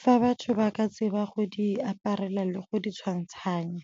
fa batho ba ka tseba go di aparela le go di tshwantshanya.